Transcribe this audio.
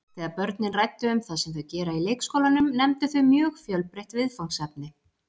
Þegar börnin ræddu um það sem þau gera í leikskólanum nefndu þau mjög fjölbreytt viðfangsefni.